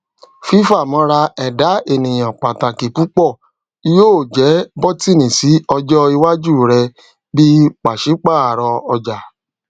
fifamọra ẹda eniyan pataki pupọ yoo jẹ bọtini si ọjọ iwaju rẹ bi paṣipaarọ ọja